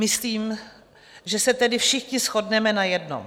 Myslím, že se tedy všichni shodneme na jednom.